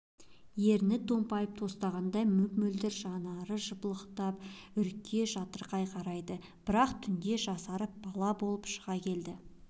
еріні томпайып тостағандай мөп-мөлдір жанары жыпылықтап үрке жатырқай қарайды бір-ақ түнде жасарып бала болып шыға келді